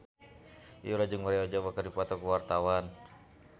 Yura jeung Maria Ozawa keur dipoto ku wartawan